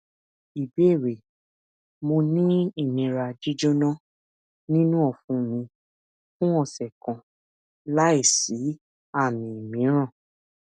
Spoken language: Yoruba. ìbéèrè mo ni inira jíjona ninu ọfun mi fun ọsẹ kan lai si aami miiran